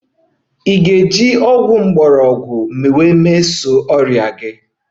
Ị ga-emeso ọrịa gị na herbs mpaghara?